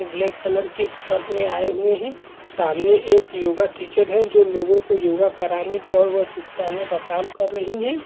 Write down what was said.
Black colour की shirt में आए हुए है सामने एक योगा टीचर है जो लोगो को योगा कराने का व अच्छे से सीखाने काम कर रही हैं।